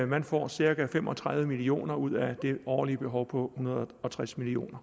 man får cirka fem og tredive million kroner ud af det årlige behov på hundrede og tres million